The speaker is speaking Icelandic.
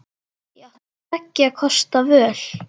Ég átti tveggja kosta völ.